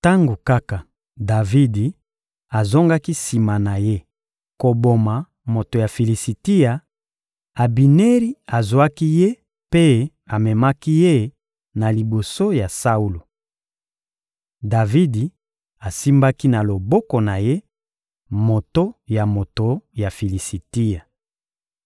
Tango kaka Davidi azongaki sima na ye koboma moto ya Filisitia, Abineri azwaki ye mpe amemaki ye na liboso ya Saulo. Davidi asimbaki na loboko na ye moto ya moto ya Filisitia.